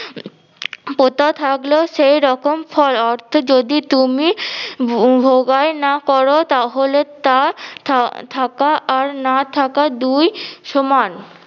পোতা থাকলেও সেরকম ফল অর্থ যদি তুমি ভোগায় না করো তাহলে তা থাক~ থাকা আর না থাকা দুই সমান